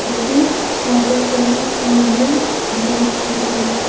a green water tank and blue drum are visible.